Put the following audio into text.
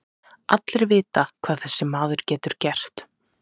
Allir vita hvað þessi maður getur gert.